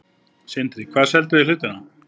Sindri: Hvað selduð þið hlutinn á?